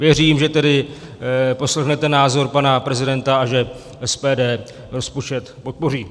Věřím tedy, že poslechnete názor pana prezidenta a že SPD rozpočet podpoří.